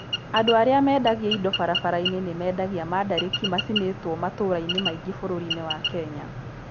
Andũ arĩa mendagia indo barabara-inĩ nĩ mendagia mandarĩki macinĩtwo matũũra-inĩ maingĩ bũrũri-inĩ wa Kenya.